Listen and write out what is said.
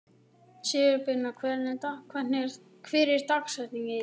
Sigurbirna, hver er dagsetningin í dag?